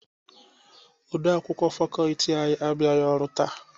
Odeakwụkwọ fakọọti anyị abụghị ọrụ taa.